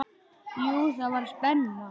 Jú, það var spenna.